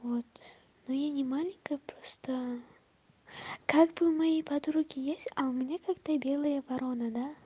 вот но я не маленькая просто как бы у моей подруги есть а у меня как-то белая ворона да